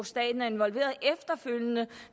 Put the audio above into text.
staten er involveret i